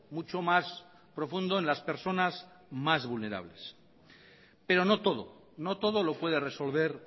mucho más profundo en las personas más vulnerables pero no todo no todo lo puede resolver